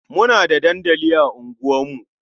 Muna da dandali a unguwarku.